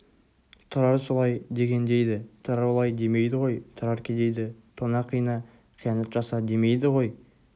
тұрар солай деген дейді тұрар олай демейді ғой тұрар кедейді тона қина қиянат жаса демейді ғой